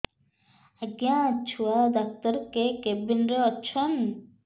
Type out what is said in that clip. ଆଜ୍ଞା ଛୁଆ ଡାକ୍ତର କେ କେବିନ୍ ରେ ଅଛନ୍